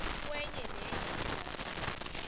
kwenye nenye indawo